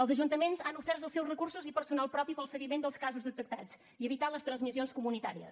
els ajuntaments han ofert els seus recursos i personal propi per al seguiment dels casos detectats i evitar les transmissions comunitàries